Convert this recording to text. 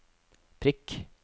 prikk